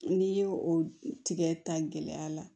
N'i y'o tigɛ ta gɛlɛya la